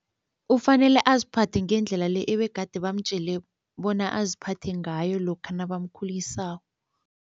Ufanele aziphathe ngendlela le ebegade bamtjele bona aziphathe ngayo lokha nabamkhulisako.